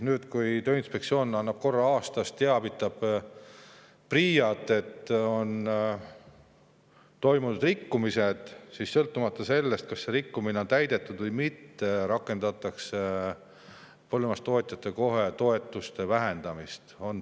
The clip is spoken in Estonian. Nüüd, kui Tööinspektsioon korra aastas teavitab PRIA‑t, et on toimunud rikkumised, siis sõltumata sellest, kas on täidetud või mitte, rakendatakse kohe põllumajandustootja toetuste vähendamist.